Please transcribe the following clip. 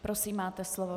Prosím, máte slovo.